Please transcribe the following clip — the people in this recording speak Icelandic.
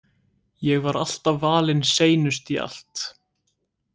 Ég var alltaf valin seinust í allt.